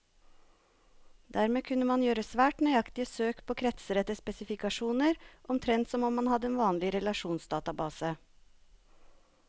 Dermed kunne man gjøre svært nøyaktige søk på kretser etter spesifikasjoner, omtrent som om man hadde en vanlig relasjonsdatabase.